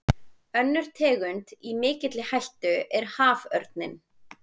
Önnur tegund í mikilli hættu er haförninn.